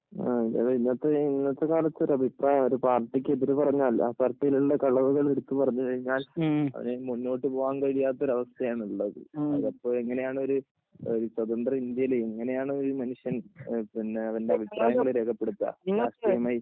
ഇന്നത്തെ കാലത്ത് ഒരു അഭിപ്രായം ഒരു പാര്‍ട്ടിയ്ക്ക് എതിര് പറഞ്ഞാൽ ആ പാർട്ടിയിലുള്ള കളവുകൾ എടുത്ത് പറഞ്ഞു കഴിഞ്ഞാൽ മുന്നോട്ട് പോകാൻ കഴിയാത്ത ഒരു അവസ്ഥയാണ് ഉള്ളത് അതപ്പോ എങ്ങനെയാണൊരു സ്വതന്ത്ര ഇന്ത്യയിൽ എങ്ങനെയാണ് ഒരു മനുഷ്യൻ അവന്റെ അഭിപ്രായങ്ങൾ രേഖപ്പെടുത്തുക